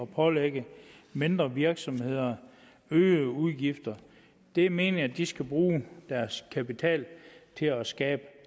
pålægge mindre virksomheder øgede udgifter det er meningen at de skal bruge deres kapital til at skabe